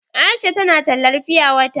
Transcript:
Aisha tana tallar fiya wata.